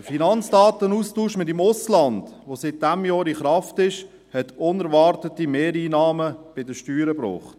Der Finanzdatenaustausch mit dem Ausland, der seit diesem Jahr in Kraft ist, hat unerwartete Mehreinnahmen bei den Steuern gebracht.